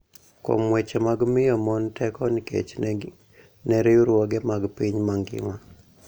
Kuom weche mag miyo mon teko nikech ne riwruoge mag piny mangima,